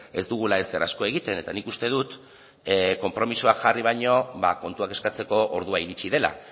ez dugula ezer asko egiten eta nik uste dut konpromisoak jarri baino ba kontuak eskatzeko ordua iritsi dela